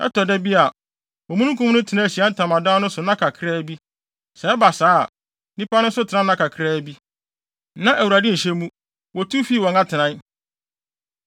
Ɛtɔ da bi a, omununkum no tena Ahyiae Ntamadan no so nna kakraa bi. Sɛ ɛba saa a, nnipa no nso tena nna kakraa bi. Na Awurade nhyɛ mu, wotu fii wɔn atenae.